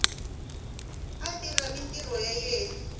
a tirha mintirho ya yena